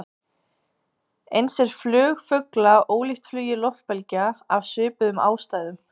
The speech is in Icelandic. Eins er flug fugla ólíkt flugi loftbelgja, af svipuðum ástæðum.